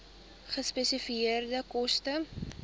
gespesifiseerde koste